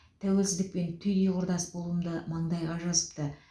тәуелсіздікпен түйді құрдас болуымды маңдайға жазыпты